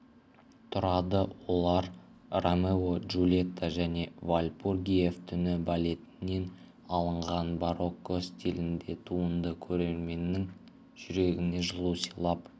тұрады олар ромео-джулетта және вальпургиев түні балетінен алынған барокко стилінде туынды көрерменнің жүрегіне жылу сыйлап